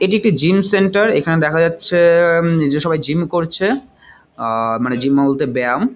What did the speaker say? এটি একটি gym centre. এখানে দেখা যাচ্ছে-এ-এ হম যে সবাই জিম করছে। আহ মানে জিম -অ বলতে ব্যায়াম ।